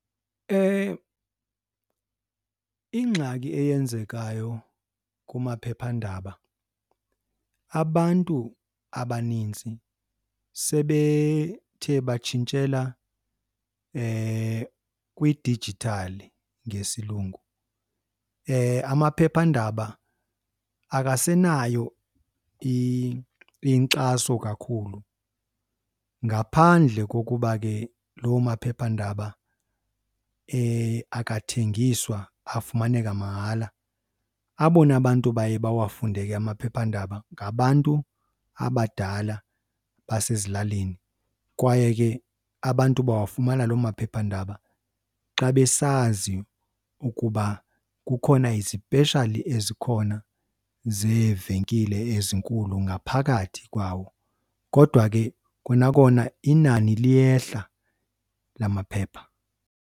Ingxaki eyenzekayo kumaphephandaba abantu abaninzi sebethe batshintshela kwidijithali ngesilungu. Amaphephandaba akasenayo inkxaso kakhulu ngaphandle kokuba ke loo maphephandaba akathengiswa afumaneka mahala. Abona bantu baye bawafunde ke amaphephandaba ngabantu abadala basezilalini kwaye ke abantu bawafumana loo maphephandaba xa besazi ukuba kukhona izipeshali ezikhona zeevenkile ezinkulu ngaphakathi kwawo. Kodwa ke kona kona inani liyehla lamaphepha.